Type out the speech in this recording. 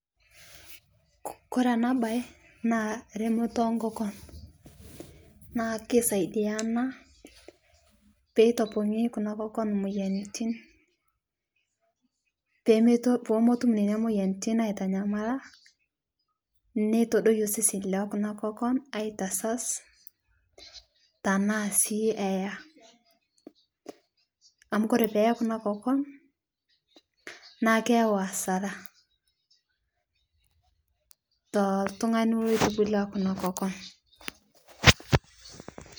Kore ana bai naa remotoo enkokon, naa keisaidia anaa peitopong'ii kuna kokon moyanitin poomotum nenia moyanitin aitanyamala neitodoyoo seseni lekuna kokon aitasas tanaa sii eyaa. Amu kore peyee kuna kokon naa keyau hasara toltung'ani eitubulua kuna kokon